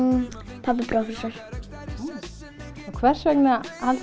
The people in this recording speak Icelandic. pabbi prófessor hvers vegna haldið